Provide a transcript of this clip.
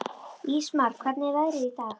Ísmar, hvernig er veðrið í dag?